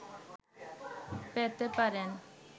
পেতে পারেন